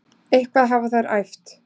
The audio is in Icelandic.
Eitthvað hafa þær æft.